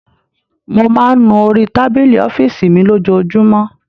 Mo máa ń nu orí tábìlì ọ́fíìsì mi lójoojúmọ́.